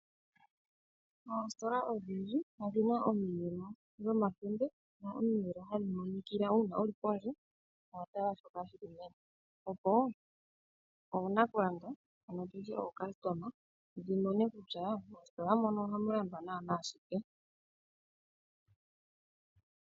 Oositola odhindji odhina omiyelo dhomakende ,ano omiyelo hadhi monikila uuna wuli pondje opo oonakulanda yamone kutya moositola mono ohamu landithwa naana shike.